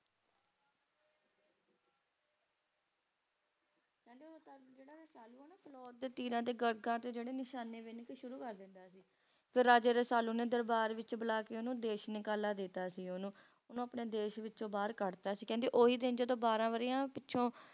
ਕਹਿੰਦੇ ਉਹ ਜਿਹੜਾ Rasalu ਆ ਨਾ ਫਿਲੌਰ ਤੇ ਤੀਰਾਂ ਦੇ ਗਾਗਰਾਂ ਤੇ ਨਿਸ਼ਾਨੇ ਬਿੰਨ ਕੇ ਸ਼ੁਰੂ ਕਰ ਦਿੰਦਾ ਸੀ ਤੇ Raja Rasalu ਨੂੰ ਦਰਬਾਰ ਵਿੱਚ ਬੁਲਾ ਕੇ ਉਹਨੂੰ ਦੇਸ਼ ਨਿਕਾਲਾ ਦੇਤਾ ਸੀ ਉਹਨੂੰ ਉਹਨੂੰ ਆਪਣੇ ਦੇਸ਼ ਵਿੱਚੋਂ ਬਾਹਰ ਕੱਢਤਾ ਸੀ ਕਹਿੰਦੇ ਉਹੀ ਦਿਨ ਜਦੋਂ ਬਾਰਾਂ ਵਰ੍ਹਿਆਂ ਪਿੱਛੋਂ